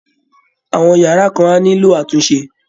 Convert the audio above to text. Àwọn yàrá kan á nílò àtúnṣe